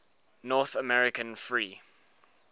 north american free